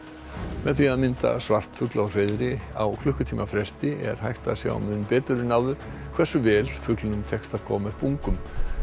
með því að mynda svartfugl á hreiðri á klukkutíma fresti er hægt að sjá mun betur en áður hversu vel fuglinum tekst að koma upp ungum